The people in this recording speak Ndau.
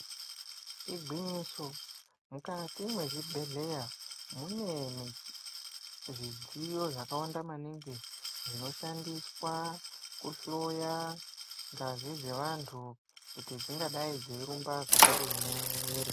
Igwinyiso mukati mezvibhedhlera mune zvidziyo zvakawanda maningi zvinoshandiswa kuhloya ngazi dzevantu kuti dzingadai dzeirumba zvakadini mumwiri.